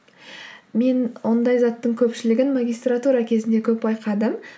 мен ондай заттың көпшілігін магистратура кезінде көп байқадым